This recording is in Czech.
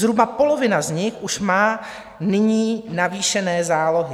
Zhruba polovina z nich už má nyní navýšené zálohy.